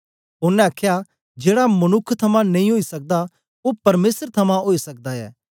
ओनें आखया जेड़ा मनुक्ख थमां नेई ओई सकदा ओ परमेसर थमां ओई सकदा ऐ